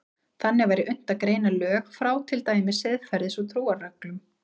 Þannig væri unnt að greina lög frá til dæmis siðferðis- og trúarreglum.